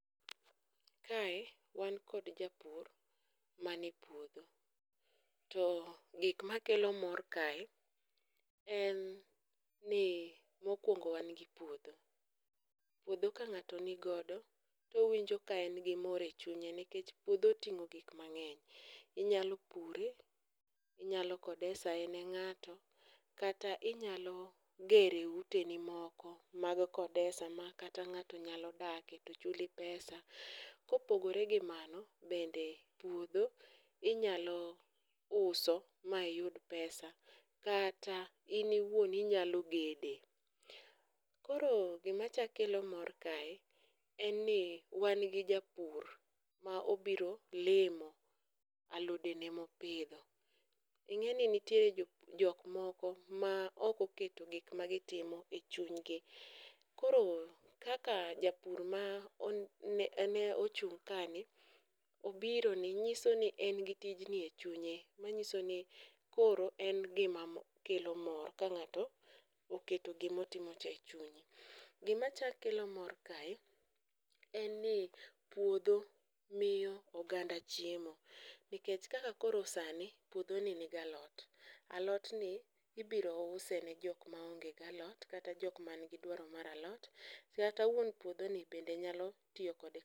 Kae wan kod japur mane puodho, to gik makelo mor kae en ni mokwongo wan gi puodho, puodho ka ng'ato ni godo towinjo ka en gi mor e chunye nikech puodho oting'o gik mang'eny, inyalo pure, inyalo kodesha e ne ng'ato kaka inyalo gere uteni moko mag kodesha ma kata ng'ato nyalo dake to chuli pesa. Kopogore gi mano, bende puodho inyalo uso ma iyud pesa kata in iwuon inyalo gede, koro gimachako kelo mor kae en ni wan gi japur ma obiro limo alodene ma opidho. ing'eni nitiere jok moko ma ok oketo gik ma ok oketo gik ma gitimo e chunygi, koro kaka japur ma ochung' kani ,obiro ni, nyiso ni en gi tijni e chunye. manyiso ni koro en gima kelo mor ka ng'ato oketo gimotimocha e chunye. Gimachako kelo mor kae en ni puodho miyo oganda chiemo nikech kaka koro sani, puodhoni nigi alot, alotni ibiro use ne jok maonge alot kata jok manigi dwaro mar alot kata wuon puodhoni bende nyalo tiyo kode.